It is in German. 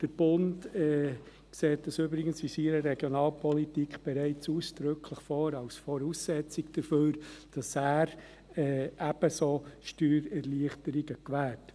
Der Bund sieht dies übrigens in seiner Regionalpolitik bereits ausdrücklich als Voraussetzung dafür vor, dass er eben so Steuererleichterungen gewährt.